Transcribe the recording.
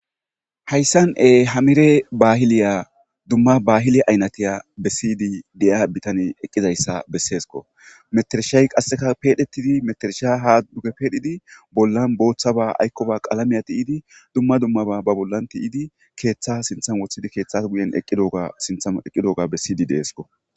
Hayssan ee hamire baahiliya dumma baahiliya aynatiya bessiydi deya bitani eqqizayssa besseesko meterishay qasseka peedhetidi metersha ha duge peedhidi bollan booththaba aykkoba qalamiya ti7idi dumma dummaba ba bollan tiyidi keeththa sinthan woththidi keeththas guyen eqqidoga sintham eqqidooga bessiydi deesko.